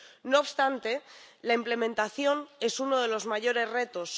No obstante, la implementación es uno de los mayores retos.